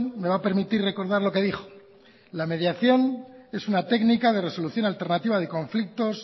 me va a permitir recordar lo que dijo la mediación es una técnica de resolución alternativa de conflictos